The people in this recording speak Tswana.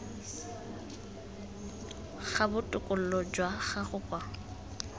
ga botokololo jwa gago kwa